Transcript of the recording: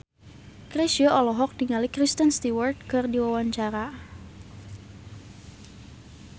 Chrisye olohok ningali Kristen Stewart keur diwawancara